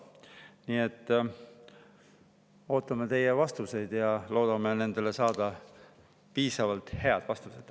Nii et ootame teilt vastuseid ja loodame saada piisavalt head vastused.